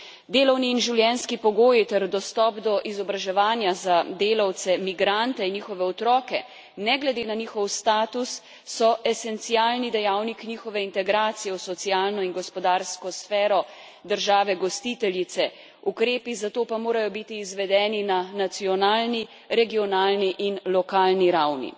Delovni in življenjski pogoji ter dostop do izobraževanja za delavce migrante in njihove otroke, ne glede na njihov status, so esencialni dejavnik njihove integracije v socialno in gospodarsko sfero države gostiteljice, ukrepi za to pa morajo biti izvedeni na nacionalni, regionalni in lokalni ravni.